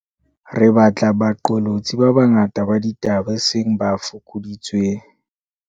Re batla baqolotsi ba banga ta ba ditaba, eseng ba fokoditsweng.